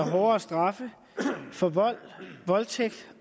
hårdere straffe for vold voldtægt